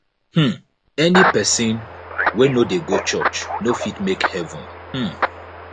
um any pesin wey no dey go church no fit make heaven um